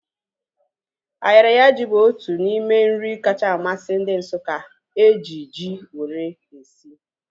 Ayaraya ji bụ otu n'ime nri ndị Nsukka kacha amasị ha eji ji wee sie